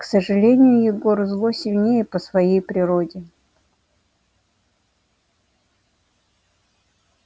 к сожалению егор зло сильнее по своей природе